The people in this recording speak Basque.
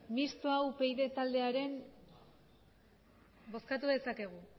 mistoa upyd taldearen bozkatu dezakegu